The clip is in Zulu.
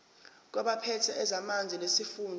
kwabaphethe ezamanzi nesifunda